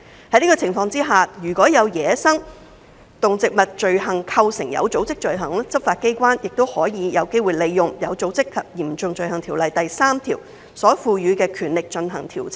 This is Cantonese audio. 在這個情況下，如果有走私野生動植物罪行構成有組織罪行，執法機關也有機會利用《有組織及嚴重罪行條例》第3條所賦予的權力進行調查。